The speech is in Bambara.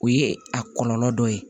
O ye a kɔlɔlɔ dɔ ye